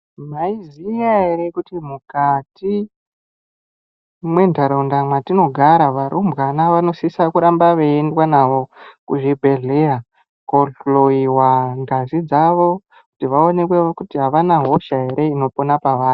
Maiziya ere kuti mukati mwentaraunda mwatinogara varumbwana vanosisa kuramba veiendwa navo kuzvibhedhleya, kohloyiwa ngazi dzavo kuti vaonekwe kuti havana hosha ere inopona pavari?